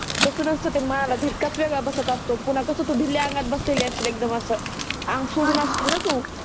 तस नसत ते म्हाला झडकाच वेगडा बसत असतो पुन्हा कस ढीलया अंगात बसलेली असेल एकदम अस आंग सोडून असिल णा तु